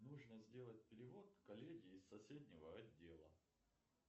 нужно сделать перевод коллеге из соседнего отдела